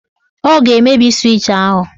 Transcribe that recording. Ọ ga-emebi swịch ahụ.